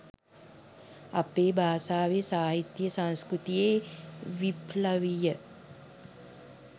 අපේ භාෂාවේ සාහිත්‍යයේ සංස්කෘතියේ විප්ලවීය